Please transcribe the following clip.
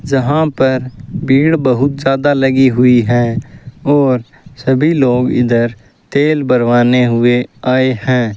जहां पर भीड़ बहुत ज्यादा लगी हुई है और सभी लोग इधर तेल भरवाने हुए आए हैं।